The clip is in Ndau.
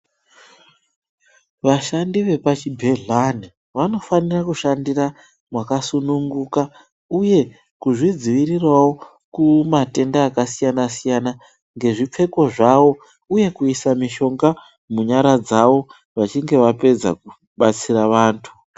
Vashandi vepa chigedhlani vanofanire kushandira makasununguka uye kuzvidzivirirawo kumatenda kasiyana siyana ngezvipfeko zvawo uye kuise mushonga munyara dzawo vachinge vapedza kubatsira vantu.